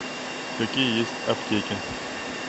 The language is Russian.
какие есть аптеки